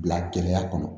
Bila kɛnɛya kɔnɔ